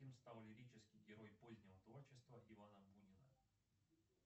кем стал лирический герой позднего творчества ивана бунина